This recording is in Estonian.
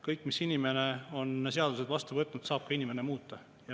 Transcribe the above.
Kõiki seadusi, mis inimene on vastu võtnud, saab ka inimene muuta.